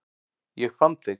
Ég fann þig